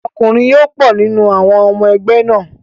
Ọkùnrin yó pọ̀ nínú àwọn ọmọ ẹgbẹ́ náà.